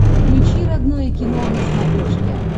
включи родное кино на смотрешке